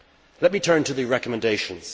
Let me turn to the recommendations.